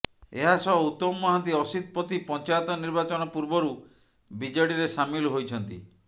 ଏହାସହ ଉତ୍ତମ ମହାନ୍ତି ଅସିତ ପତି ପଞ୍ଚାୟତ ନିର୍ବାଚନ ପୂର୍ବରୁ ବିଜେଡିରେ ସାମିଲ ହୋଇଛନ୍ତି